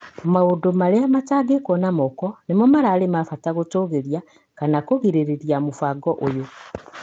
Maũndũ marĩa matangĩkwo na moko nĩmo mararĩ mabata gũtũgĩria kana kũgirĩrĩria mũbango ũyũ.